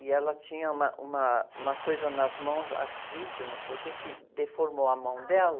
e ela tinha uma, uma, uma coisa nas mãos, artrite, ou não sei o quê, que deformou a mão dela.